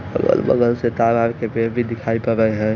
Colour से tower और पेड़ भी दिखाई है।